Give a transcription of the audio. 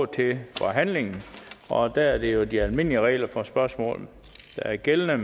til forhandlingen og der er det jo de almindelige regler for spørgsmål der er gældende